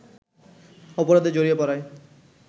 অপরাধে জড়িয়ে পড়ায়